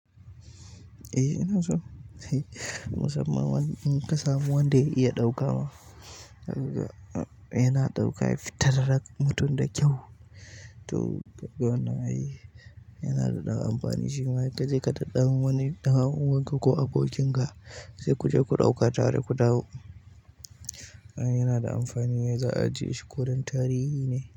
Eh, ina so. Musamman in ka samu wanda ya iya ɗaukawa, yana ɗauka ya fittar da mutum da kyau. To yana daɗan amfani shi ma, inka ji kada ɗan wani ɗan uwanka ko abokin ka sai ku je ku ɗauka tare ku dawo. Yana da amfani, za a ajiye shi kodan tarihi ne.